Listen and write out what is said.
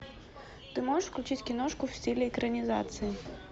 ты можешь включить киношку в стиле экранизации